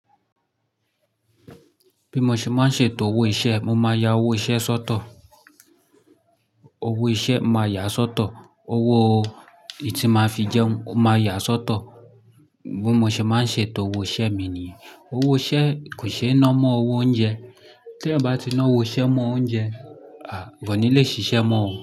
Bí mo ṣe máa ń ṣe to owó iṣẹ́, mo máa ya owó iṣẹ́ sọ́tọ̀, owó iṣẹ́ momáa yà sọ́tọ̀, owó ìdí tí máa fi jẹun momáa yà sọ́tọ̀. Bí mo ṣe máa ń ṣe to owó iṣẹ́ mi nìyẹn. Owó iṣẹ́ kò ṣe ẹ ná mọ́ owó oúnjẹ. Tí ẹyan bá ti ná owó iṣẹ́ mọ́ oúnjẹ, àà koni lé ṣiṣẹ́ mọ́ ọ.